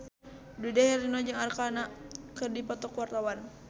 Dude Herlino jeung Arkarna keur dipoto ku wartawan